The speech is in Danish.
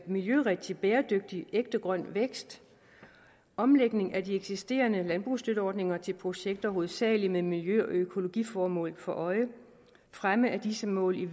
miljørigtig bæredygtig ægte grøn vækst omlægning af de eksisterende landbrugsstøtteordninger til projekter hovedsagelig med miljø og økologiformål for øje fremme af disse mål i